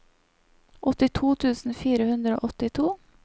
åttito tusen fire hundre og åttito